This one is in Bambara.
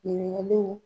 Ɲininkaliw